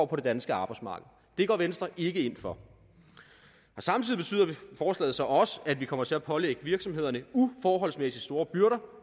på det danske arbejdsmarked det går venstre ikke ind for samtidig betyder forslaget så også at vi kommer til at pålægge virksomhederne uforholdsmæssig store byrder